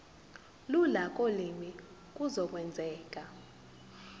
lula kolimi kuzokwenzeka